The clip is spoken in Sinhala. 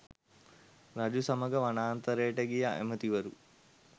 රජු සමග වනාන්තරයට ගිය ඇමතිවරු